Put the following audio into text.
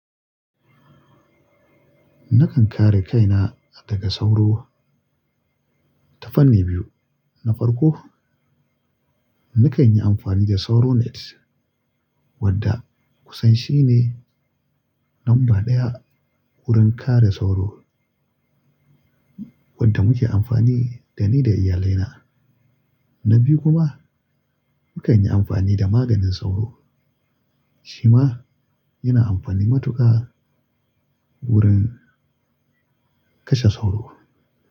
Nakan kare kaina daga sauro ta fanni biyu. Na farko, nakan yi amfani da SauroNet, wanda kusan shi ne lamba ɗaya wurin kare sauro wanda muke amfani da ni da iyalina. Na biyu kuma, nakan yi amfani da maganin sauro. Shi ma yana amfani matuka wurin kashe sauro.